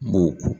Bon